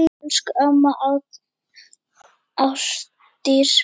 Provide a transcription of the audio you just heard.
Elsku amma Ásdís mín.